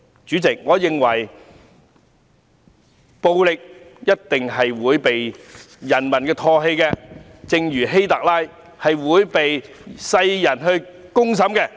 主席，我認為暴力一定會被人民唾棄，正如希特勒會被世人公審一樣。